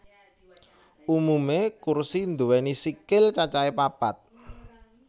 Umumé kursi nduwéni sikil cacahé papat